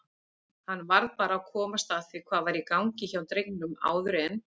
Hann varð bara að komast að því hvað væri í gangi hjá drengnum áður en